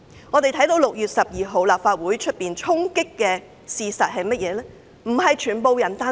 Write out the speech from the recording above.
我們看到6月12日立法會出現衝擊，但事實是甚麼？